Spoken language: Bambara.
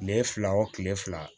Kile fila o kile fila